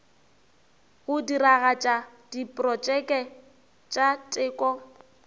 go diragatša diprotšeke tša teko